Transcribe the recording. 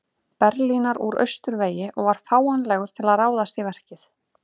Berlínar úr austurvegi og var fáanlegur til að ráðast í verkið.